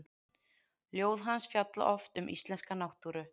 Ljóð hans fjalla oft um íslenska náttúru.